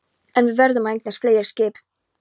En við verðum að eignast fleiri skip